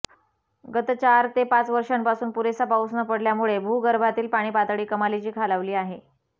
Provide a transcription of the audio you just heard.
गत चार ते पाच वर्षांपासून पुरेसा पाऊस न पडल्यामुळे भूगर्भातील पाणीपातळी कमालीची खालावली आहे